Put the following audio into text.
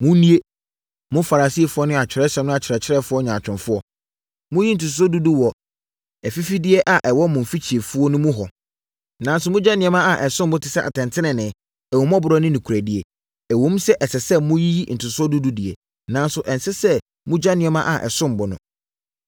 “Monnue! Mo Farisifoɔ ne Atwerɛsɛm no akyerɛkyerɛfoɔ nyaatwomfoɔ! Moyi ntotosoɔ dudu wɔ afifideɛ a ɛwɔ mo mfikyifuo mu no ho, nanso mogya nneɛma a ɛsom bo te sɛ atɛntenenee, ahummɔborɔ ne nokorɛdie. Ɛwom sɛ ɛsɛ sɛ moyiyi ntotosoɔ dudu no deɛ, nanso ɛnsɛ sɛ mogya nneɛma a ɛsom bo no.